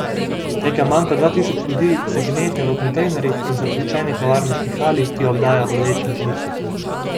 Nekaj manj kot dva tisoč ljudi se gnete v kontejnerjih in zapuščeni tovarniški hali, ki jo obdaja bodeča žica.